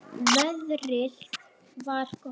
Veðrið var gott.